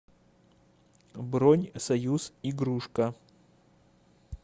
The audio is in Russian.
бронь союз игрушка